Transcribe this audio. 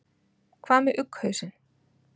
hvað með ugghausinn